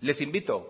les invito